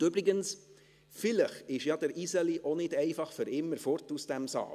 Und übrigens: Vielleicht ist ja «der Iseli» auch nicht für immer weg aus diesem Saal.